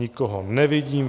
Nikoho nevidím.